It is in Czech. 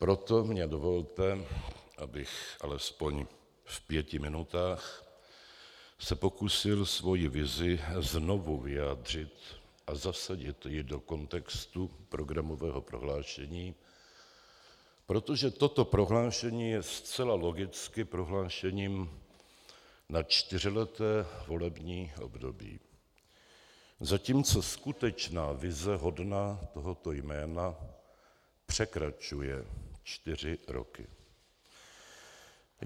Proto mně dovolte, abych alespoň v pěti minutách se pokusil svoji vizi znovu vyjádřit a zasadit ji do kontextu programového prohlášení, protože toto prohlášení je zcela logicky prohlášením na čtyřleté volební období, zatímco skutečná vize hodná tohoto jména překračuje čtyři roky.